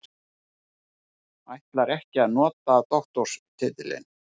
Ætlar ekki að nota doktorstitilinn